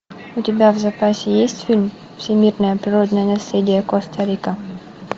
у тебя в запасе есть фильм всемирное природное наследие коста рика